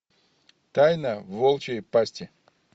тайна волчьей пасти